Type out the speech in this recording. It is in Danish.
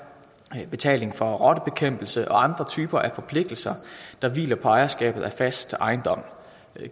betaling for rottebekæmpelse og andre typer af forpligtelser der hviler på ejerskabet af fast ejendom